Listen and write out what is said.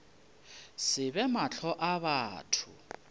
se be mahlong a batho